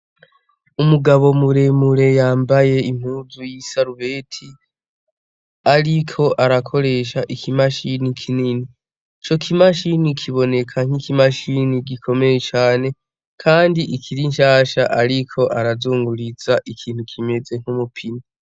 Umugabo muremure yambaye impuzu y'isarubeti, ariko arakoresha ikimashini kinini, ico kimashini kiboneka nk'ikimashini gikomeye cane kandi ikiri nshasha, ariko arazunguriza ikintu kimeze nk'umupine.